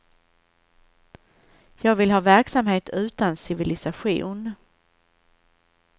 Jag vill ha verksamhet utan civilisation.